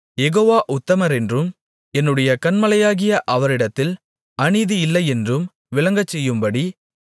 யெகோவா உத்தமரென்றும் என்னுடைய கன்மலையாகிய அவரிடத்தில் அநீதியில்லையென்றும் விளங்கச்செய்யும்படி